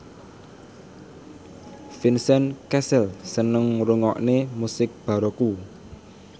Vincent Cassel seneng ngrungokne musik baroque